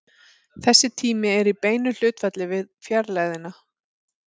Þessi tími er í beinu hlutfalli við fjarlægðina.